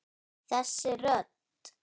Þessi rödd!